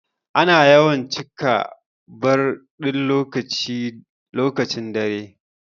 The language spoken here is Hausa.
Ana yawan cika bar din lokacin dare.